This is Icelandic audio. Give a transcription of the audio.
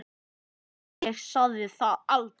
Nei, ég sagði það aldrei.